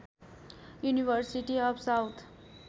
university of south